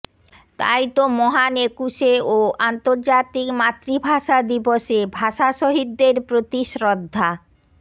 তাই তো মহান একুশে ও আন্তর্জাতিক মাতৃভাষা দিবসে ভাষাশহীদদের প্রতি শ্রদ্ধা